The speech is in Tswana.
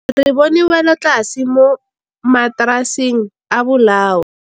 Re bone wêlôtlasê mo mataraseng a bolaô.